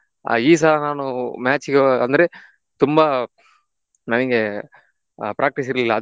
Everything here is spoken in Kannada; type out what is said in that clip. ಆ ಈ ಸಲ ನಾನು match ಗೆ ಅಂದ್ರೆ ತುಂಬಾ ನನಿಗೆ ಆಹ್ practice ಇರ್ಲಿಲ್ಲ.